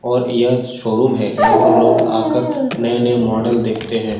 और यह शोरूम है यहाँ पर लोग आकर नये-नये मोडल देखते है ।